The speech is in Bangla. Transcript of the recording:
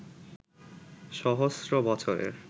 সহস্র বছরের